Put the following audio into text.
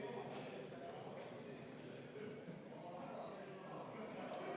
Palun võtta seisukoht ja hääletada!